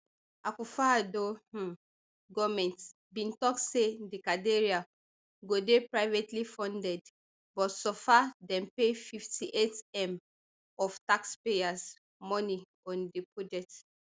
akufoaddo um goment bin tok say di cathedral go dey privately funded but so far dem pay fifty-eightm of taxpayers money on di project